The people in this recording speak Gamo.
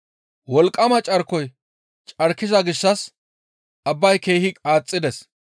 Wolqqama carkoy carkiza gishshas abbay keehi qaaxxides.